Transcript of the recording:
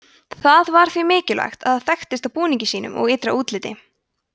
það var því mikilvægt að það þekktist á búningi sínum og ytra útliti